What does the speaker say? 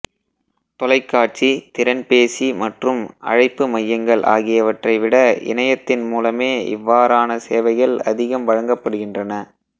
தொலைக்காட்சி திறன்பேசி மற்றும் அழைப்பு மையங்கள் ஆகியவற்றை விட இனையத்தின் மூலமே இவ்வாறான சேவைகள் அதிகம் வழங்கப்படுகின்றன